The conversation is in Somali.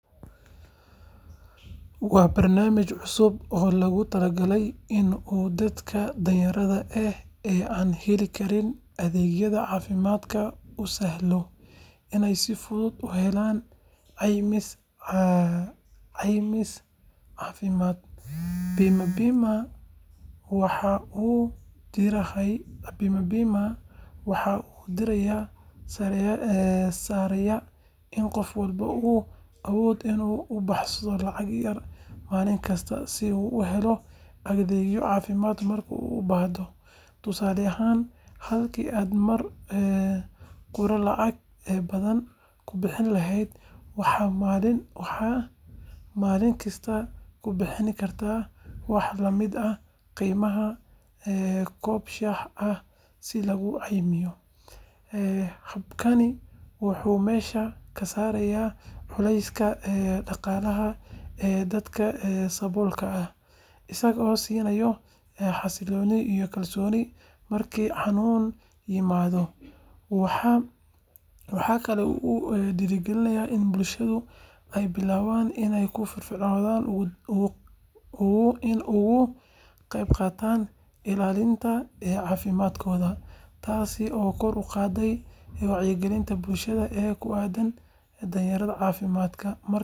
Waa barnaamij cusub oo lagu talagalay in uu dadka danyarta ah ee aan heli karin adeegyada caafimaad u sahlanaado inay si fudud u helaan caymis caafimaad. Bima Pima waxaa uu diiradda saarayaa in qof walba uu awoodo inuu ku baxsho lacag yar maalin kasta si uu u helo adeegyo caafimaad marka uu u baahdo. Tusaale ahaan, halkii aad mar qura lacag badan ku bixin lahayd, waxaad maalin kasta ku bixin kartaa wax la mid ah qiimaha koob shaah ah si laguu caymiyo. Habkani wuxuu meesha ka saarayaa culayska dhaqaale ee dadka saboolka ah, isagoo siinaya xasillooni iyo kalsooni marka xanuun yimaado. Waxaa kale oo uu dhiirrigelinayaa in bulshooyinka ay bilaabaan inay si firfircoon uga qaybqaataan ilaalinta caafimaadkooda, taas oo kor u qaadaysa wacyigelinta bulshada ee ku aaddan daryeelka caafimaadka. Marka la eego, waxaan u maleynayaa in barnaamijkani uu yahay mid muhiim ah oo xalka u noqon kara caqabadaha ay la kulmaan dadka aan awoodin inay helaan daryeel caafimaad oo joogto ah.